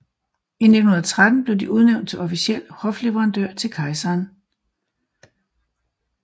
I 1913 blev de udnævnt til officiel hofleverandør til kejseren